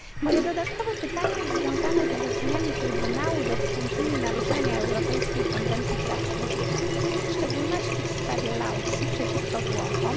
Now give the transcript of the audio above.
Moje dodatkowe pytanie związane jest z orzeczeniami Trybunału dotyczącymi naruszania Europejskiej Konwencji Praw Człowieka, w szczególności w sprawie Lautsi przeciwko Włochom.